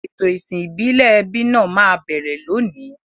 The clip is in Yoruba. Ètò ìsìn ìbílẹ̀ ẹbí náà máa bẹ̀rẹ̀ lónìí.